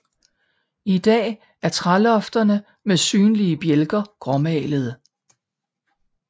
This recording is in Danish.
I dag er trælofterne med synlige bjælker gråmalede